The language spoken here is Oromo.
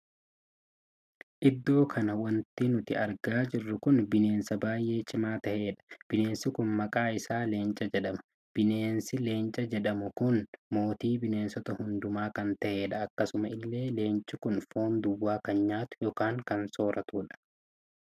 Iddoo kana wanti nuti argaa jirru kun bineensa baay'ee cima taheedha. bineensi kun maqaa isaa leenca jedhama. bineensi leenca jedhamu kun mootii bineensota hundumaa kan taheedha. akkasuma illee leenci kun foon duwwaa kan nyaatu ykn kan sooratudha.